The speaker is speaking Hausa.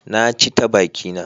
Na ci ta bakina.